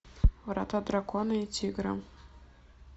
врата дракона и тигра